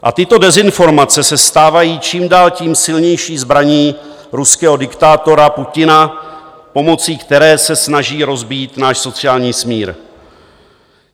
A tyto dezinformace se stávají čím dál tím silnější zbraní ruského diktátora Putina, pomocí které se snaží rozbít náš sociální smír.